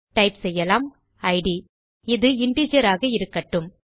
type செய்யலாம் id160 இது integer ஆக இருக்கட்டும்